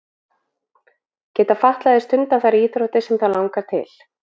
Geta fatlaðir stundað þær íþróttir sem að þá langar til?